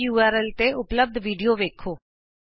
ਇਸ ਯੂਆਰਐਲ ਤੇ ਉਪਲੱਭਦ ਵੀਡੀਉ ਵੇਖੋ